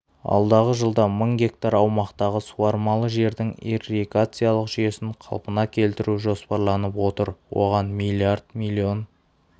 алдағы жылда мың га аумақтағы суармалы жердің ирригациялық жүйесін қалпына келтіру жоспарланып отыр оған млрд млн